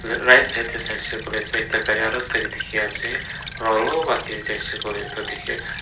Right side dae saishe koile tuh ekta gari aro ekta kae dekhey ase aro alop dae jaishe koile tuh dekhe--